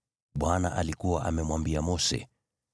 Bwana alikuwa amemwambia Mose: